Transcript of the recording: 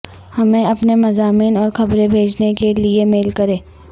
ہمیں اپنے مضامین اور خبریں بھیجنے کے لیئے میل کریں